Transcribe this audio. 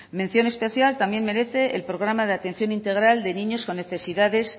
mención especial también merece el programa de atención integral de niños con necesidades